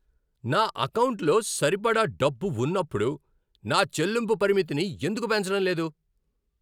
నా ఎకౌంటులో సరిపడా డబ్బు ఉన్నప్పుడు నా చెల్లింపు పరిమితిని ఎందుకు పెంచడం లేదు?